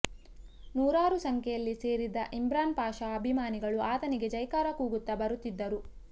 ನೂರಾರು ಸಂಖ್ಯೆಯಲ್ಲಿ ಸೇರಿದ್ದ ಇಮ್ರಾನ್ ಪಾಷಾ ಅಭಿಮಾನಿಗಳು ಆತನಿಗೆ ಜೈಕಾರ ಕೂಗುತ್ತಾ ಬರುತ್ತಿದ್ದರು